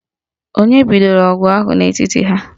Onye bidoro ọgụ ahụ n'etiti ha?